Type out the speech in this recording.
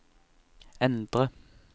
endre